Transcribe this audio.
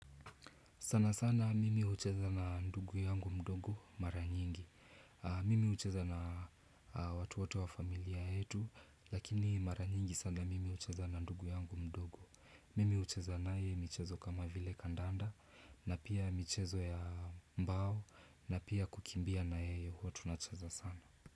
Sana sana mimi hucheza na ndugu yangu mdogo mara nyingi. Mimi hucheza na watu wote wa familia yetu, lakini mara nyingi sana mimi hucheza na ndugu yangu mdogo. Mimi hucheza naye michezo kama vile kandanda, na pia michezo ya mbao, na pia kukimbia na yeye huwa tunacheza sana.